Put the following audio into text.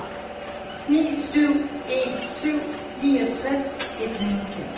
ni syv en syv niogtres et hundrede og fem